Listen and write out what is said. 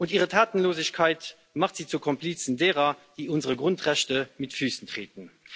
Ihre Tatenlosigkeit macht Sie zu Komplizen derer, die unsere Grundrechte mit Füßen treten.